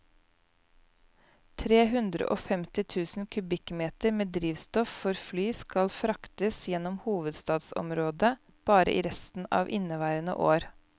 Tre hundre og femti tusen kubikkmeter med drivstoff for fly skal fraktes gjennom hovedstadsområdet bare i resten av inneværende år.